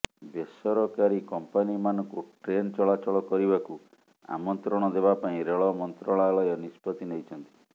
ବେସରକାରୀ କମ୍ପାନିମାନଙ୍କୁ ଟ୍ରେନ୍ ଚଳାଚଳ କରିବାକୁ ଆମନ୍ତ୍ରଣ ଦେବା ପାଇଁ ରେଳ ମନ୍ତ୍ରାଳୟ ନିଷ୍ପତ୍ତି ନେଇଛନ୍ତି